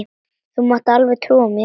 Þú mátt alveg trúa mér!